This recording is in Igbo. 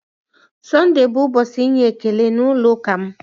Sonde bụ ụbọchị inye ekele na ulo ụka m